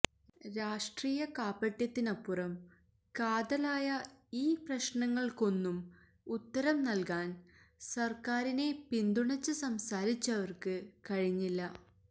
രാഷ്ട്രീയ കാപട്യത്തിനപ്പുറം കാതലായ ഈ പ്രശ്നങ്ങള്ക്കൊന്നും ഉത്തരം നല്കാന് സര്ക്കാരിനെ പിന്തുണച്ച് സംസാരിച്ചവര്ക്ക് കഴിഞ്ഞില്ല